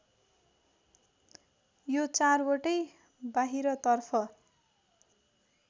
यो चारवटै बाहिरतर्फ